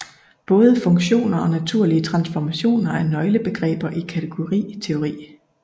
Både funktorer og naturlige transformationer er nøglebegreber i kategoriteori